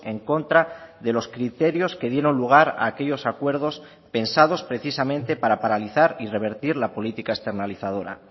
en contra de los criterios que dieron lugar a aquellos acuerdos pensados precisamente para paralizar y revertir la política externalizadora